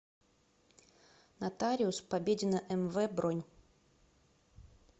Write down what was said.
нотариус победина мв бронь